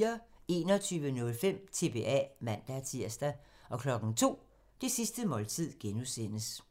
21:05: TBA (man-tir) 02:00: Det sidste måltid (G)